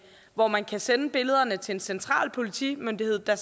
hvor man kan sende billederne til en central politimyndighed der